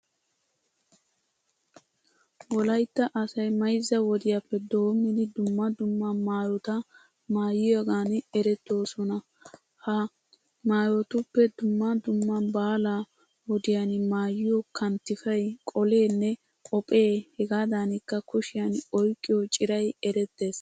Wolaytta asay mayzza wodiyappe doommidi dumma dumma maayota maayiyigan erettoosona. Ha maayotuppe dumma dumma baalaa wodiyan maayiyo kanttifay, qoleenne qophee hegaadankka kushiyan oyqqiyo ciray erettees.